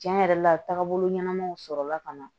Tiɲɛ yɛrɛ la taabolo ɲɛnamaw sɔrɔla ka na